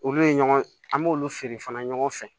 Olu ye ɲɔgɔn an b'olu feere fana ɲɔgɔn fɛ